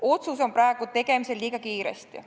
Otsus on praegu tegemisel liiga kiiresti.